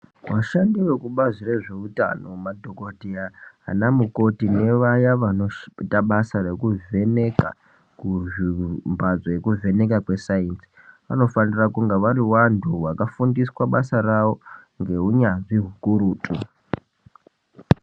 Vashandi vekubazi rezvehutano madhokodheya nanamukoti evaya vanoita basa rekuvheneka kuzvi mbatso yeku vheneka kweesainzi vanofanira kunge vari vantu vakafundiswa basa ravo neunyanzvi hukurutu.